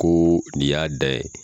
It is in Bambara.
Koo nin y'a da ye.